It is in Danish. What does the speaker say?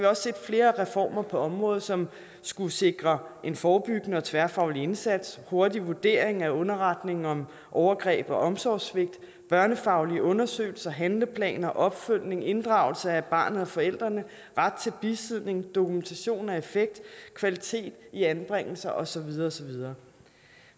også set flere reformer på området som skulle sikre en forebyggende og tværfaglig indsats hurtig vurdering af underretninger om overgreb og omsorgssvigt børnefaglige undersøgelser handleplaner opfølgning inddragelse af barnet og forældrene ret til bisidder dokumentation af effekt kvalitet i anbringelse og så videre og så videre